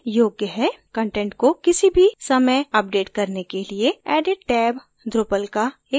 content को किसी भी समय अपडेट करने के लिए edit टैब drupal का एक बहुत अच्छा feature है